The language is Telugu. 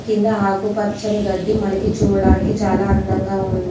కింద ఆకు పచ్చని గడ్డి మనకి చూడడానికి చాలా అందంగా ఉంద్--